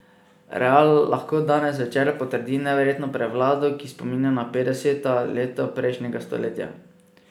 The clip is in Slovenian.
Real lahko danes zvečer potrdi neverjetno prevlado, ki spominja na petdeseta leta prejšnjega stoletja.